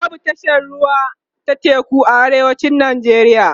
babu tashar ruwa ta teku a arewacin nigeria